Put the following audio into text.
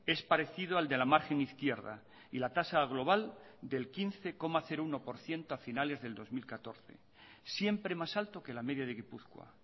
es parecido al de la margen izquierda y la tasa global del quince coma uno por ciento a finales del dos mil catorce siempre más alto que la media de gipuzkoa